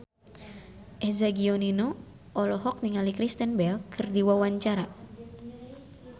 Eza Gionino olohok ningali Kristen Bell keur diwawancara